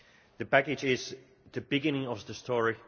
The package is the beginning of the story.